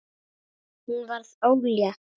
Hún varð ólétt.